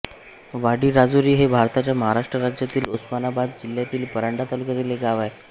वाडीराजुरी हे भारताच्या महाराष्ट्र राज्यातील उस्मानाबाद जिल्ह्यातील परांडा तालुक्यातील एक गाव आहे